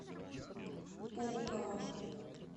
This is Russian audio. пулково